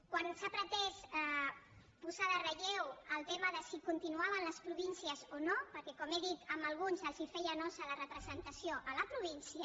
quan s’ha pretès posar en relleu el tema de si continuaven les províncies o no perquè com he dit a alguns els feia nosa la representació a la província